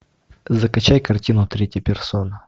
закачай картину третья персона